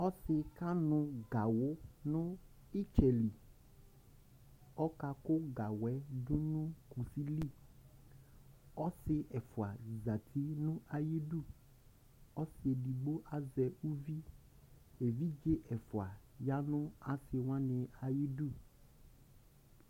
Ɔsɩ ƙanʋ gawʋ nʋ ɩtsɛli Ɔƙa kʋ gawʋɛ ɖʋnʋ ƙusiliƆsɩ ɛƒʋa zati nʋ aƴiɖuƆsɩ eɖigbo azɛ uvi, eviɖze ɛƒʋa ƴa nʋ asɩwanɩ aƴiɖu